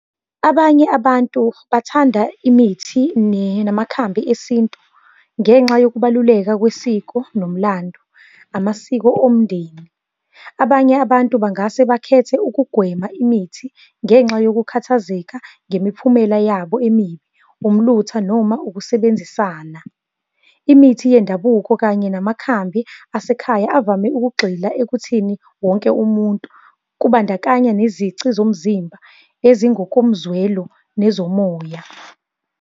Abanye abantu bathanda imithi namakhadi esintu ngenxa yokubaluleka kwesiko nomlando, amasiko omndeni. Abanye abantu bangase bakhethe ukugwema imithi ngenxa yokukhathazeka ngemiphumela yabo emibi, umlutho, noma ukusebenzisana. Imithi yendabuko kanye namakhambi asekhaya avame ukugxila ekuthini wonke umuntu, kubandakanya nezici zomzimba, ezingokomzwelo nezomoya.